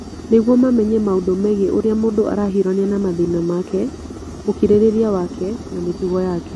nĩguo mamenye maũndũ megiĩ ũrĩa mũndũ arahiũrania na mathĩna make, ũkirĩrĩria wake, na mĩtugo yake.